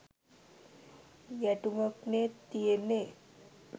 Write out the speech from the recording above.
ගැටුමක්නෙ තියෙන්නෙ